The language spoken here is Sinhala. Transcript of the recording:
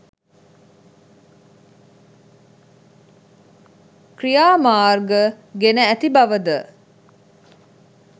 ක්‍රියාමර්ග ගෙන ඇති බව ද